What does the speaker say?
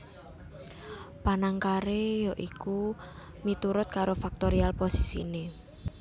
Panangkaré ya iku miturut karo faktorial posisiné